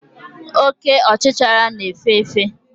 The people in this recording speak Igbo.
Oke ọchichara na-efe efe.